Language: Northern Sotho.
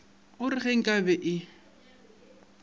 o re ge nkabe e